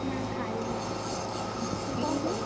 ନା ଖାଇନି ।